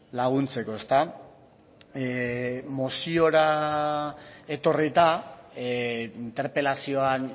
laguntzeko moziora etorrita interpelazioan